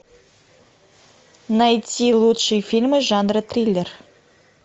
найти лучшие фильмы жанра триллер